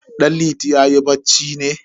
Danliti yayi bacci ne?